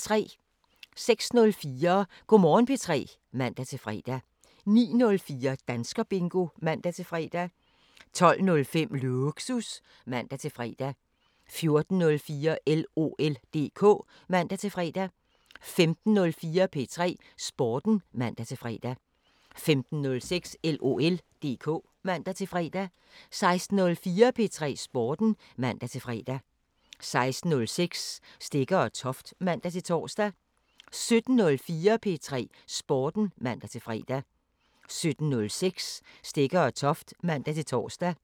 06:04: Go' Morgen P3 (man-fre) 09:04: Danskerbingo (man-fre) 12:05: Lågsus (man-fre) 14:04: LOL DK (man-fre) 15:04: P3 Sporten (man-fre) 15:06: LOL DK (man-fre) 16:04: P3 Sporten (man-fre) 16:06: Stegger & Toft (man-tor) 17:04: P3 Sporten (man-fre) 17:06: Stegger & Toft (man-tor)